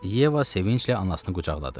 Yeva sevinclə anasını qucaqladı.